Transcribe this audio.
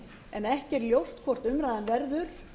en ekki er ljóst hvort umræðan verður